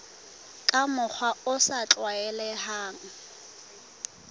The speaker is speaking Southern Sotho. ka mokgwa o sa tlwaelehang